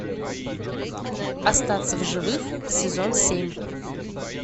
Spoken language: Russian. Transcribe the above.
остаться в живых сезон семь